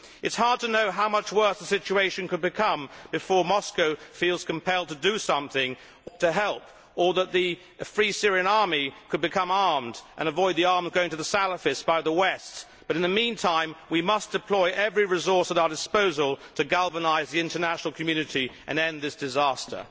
It is hard to know how much worse the situation could become before Moscow feels compelled to do something to help or the Free Syrian Army can become armed and prevent arms going to the Salafists from the West, but in the meantime we must deploy every resource at our disposal to galvanise the international community and end this disaster.